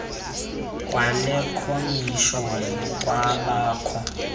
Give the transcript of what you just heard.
kwale khomishoni kwabakho